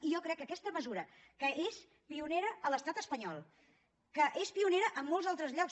i jo crec que aquesta mesura que és pionera a l’estat espanyol que és pionera en molts altres llocs